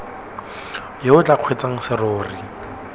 yo o tla kgweetsang serori